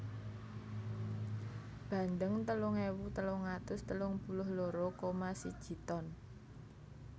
Bandeng telung ewu telung atus telung puluh loro koma siji ton